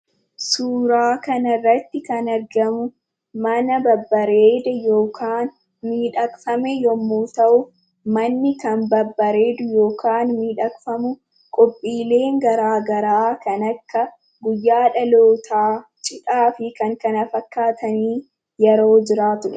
Suuraa kanarratti kan argamu mana babbareeda yookaan miidhagfame yommuu ta'u, manni kan babbareedu yookaan miidhagfamu qophiileen garaagaraa kan akka guyyaa dhalootaa, cidhaa fi kan kana fakkaatan yeroo jiraatudha.